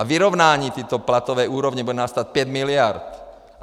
A vyrovnání této platové úrovně nás bude stát 5 miliard.